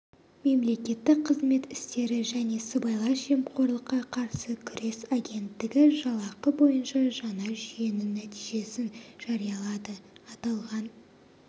мемлекеттік қызмет істері және сыбайлас жемқорлыққа қарсы күрес агенттігі жалақы бойынша жаңа жүйенің нәтижесін жариялады аталған